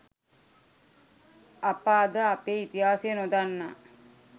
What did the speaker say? අප අද අපේ ඉතිහාසය නොදන්නා